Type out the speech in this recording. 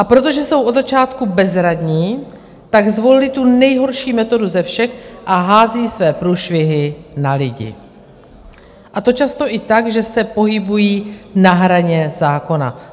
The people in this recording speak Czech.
A protože jsou od začátku bezradní, tak zvolili tu nejhorší metodu ze všech a házejí své průšvihy na lidi, a to často i tak, že se pohybují na hraně zákona.